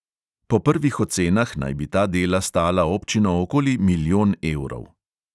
Po prvih ocenah naj bi ta dela stala občino okoli milijon evrov.